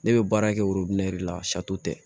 Ne bɛ baara kɛ de la tɛ